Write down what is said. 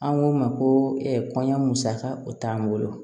An k'o ma ko kɔɲɔ musaka o t'an bolo